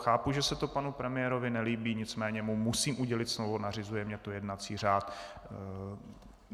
Chápu, že se to panu premiérovi nelíbí, nicméně mu musím udělit slovo, nařizuje mi to jednací řád.